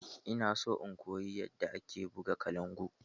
Ina so in koyi yadda ake buga kalangu.